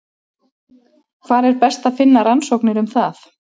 Hvar er best að finna rannsóknir um það?